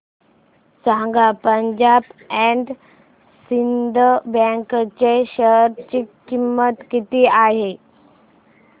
सांगा Punjab and Sind bank च्या share ची किंमत किती आहे